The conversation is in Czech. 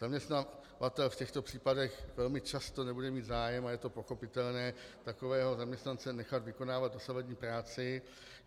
Zaměstnavatel v těchto případech velmi často nebude mít zájem, a je to pochopitelné, takového zaměstnance nechat vykonávat dosavadní práci.